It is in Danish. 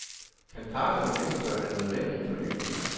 Kan parterne gennemføre den nødvendige fornyelse?